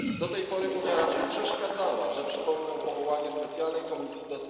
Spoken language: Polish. Do tej pory Unia raczej przeszkadzała przypomnę choćby powołanie specjalnej komisji ds.